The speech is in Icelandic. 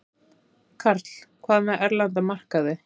Karl: Hvað með erlenda markaði?